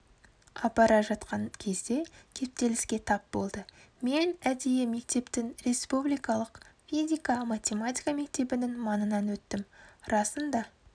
апара жатқан кезде кептеліске тап болды мен әдейі мектептің республикалық физика-математика мектебінің маңынан өттім расында